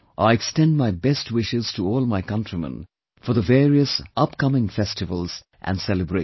I extend my best wishes to all my countrymen for the various upcoming festivals and celebrations